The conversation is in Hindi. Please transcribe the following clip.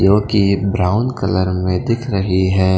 जो कि ब्राउन कलर में दिख रही है।